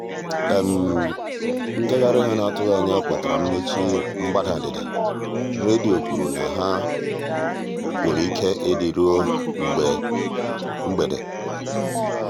ngagharị ha n'atụghị anya kpatara mmechi mgbada ndịda; redio kwuru na ọ nwere ike ịdị ruo ebe mgbede.